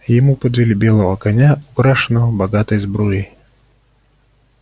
ему подвели белого коня украшенного богатой сбруей